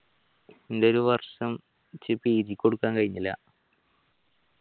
ഇന്റെ ഒരു വർഷം എഴുതി കൊടുക്കാൻ കഴിഞ്ഞില്ല